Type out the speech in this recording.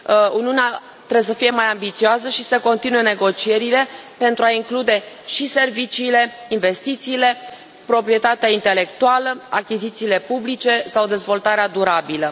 Uniunea trebuie să fie mai ambițioasă și să continue negocierile pentru a include și serviciile, investițiile, proprietatea intelectuală, achizițiile publice sau dezvoltarea durabilă.